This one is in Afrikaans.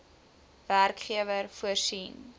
werkgewer voorsien